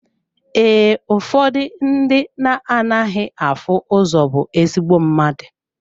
Ee, ụfọdụ ndị na anaghị afụ ụzọ bụ ezigbo mmadụ.